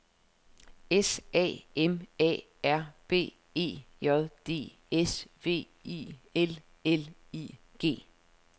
S A M A R B E J D S V I L L I G